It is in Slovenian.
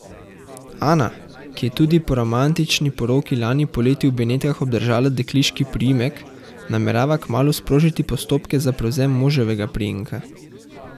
Ana, ki je tudi po romantični poroki lani poleti v Benetkah obdržala dekliški priimek, namerava kmalu sprožiti postopke za prevzem moževega priimka.